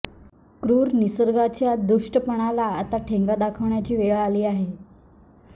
क्रूर निसर्गाच्या दुष्टपणाला आता ठेंगा दाखवण्याची वेळ आलेली आहे